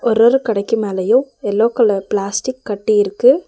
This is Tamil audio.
ஒரு ஒரு கடைக்கு மேலயும் எல்லோ கலர் பிளாஸ்டிக் கட்டி இருக்கு.